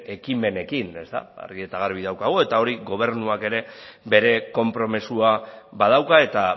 ekimenekin argi eta garbi daukagu eta hori gobernuak ere bere konpromisoa badauka eta